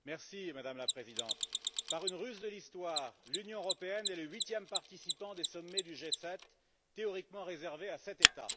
Madame la Présidente, par une ruse de l'histoire, l'Union européenne est le huitième participant des sommets du G7, théoriquement réservé à sept États.